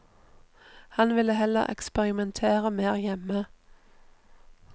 Han vil heller eksperimentere mer hjemme.